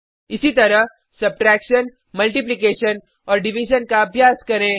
इसीतरह सबट्रैक्शन घटाव मल्टीप्लिकेशन गुणा और डिविजन भाग का अभ्यास करें